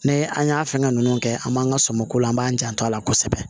Ni an y'a fɛngɛ nunnu kɛ an b'an ka sɔmlan an b'an janto a la kosɛbɛ